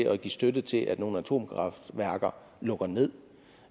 at give støtte til at nogle atomkraftværker lukker ned